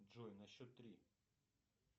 джой на счет три